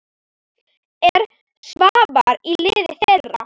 Er Svavar í liði þeirra?